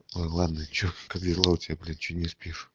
ой ладно что как дела у тебя блин чего не спишь